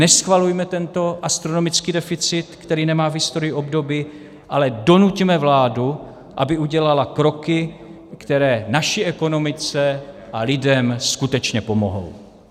Neschvalujme tento astronomický deficit, který nemá v historii obdoby, ale donuťme vládu, aby udělala kroky, které naší ekonomice a lidem skutečně pomohou.